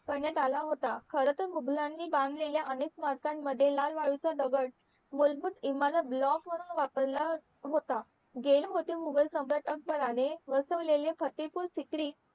करण्यात आला होता खरा तर मुघलांनी बांधलेल्या अनेक सामरकं मध्ये लाल वाळूचा दगड मूलभूत इमारत ब्लॉकवरून वापरला होता मुघल सम्राट अकबराने बसवलेले प्रतिकूल स्तिथी